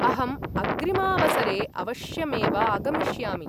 अहम् अग्रिमावसरे अवश्यमेव आगमिष्यामि।